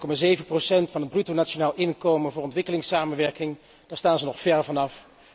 0,7 procent van het bruto nationaal inkomen voor ontwikkelingssamenwerking, daar staan ze nog ver van af.